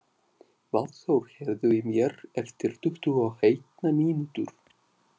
Valþór, heyrðu í mér eftir tuttugu og eina mínútur.